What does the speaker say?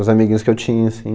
Os amiguinhos que eu tinha, assim,